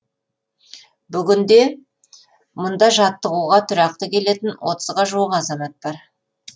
бүгінде мұнда жаттығуға тұрақты келетін отызға жуық азамат бар